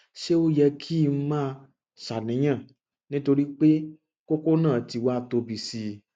ṣé ó yẹ kí n máa ṣàníyàn nítorí pé kókó náà ti wá tóbi sí i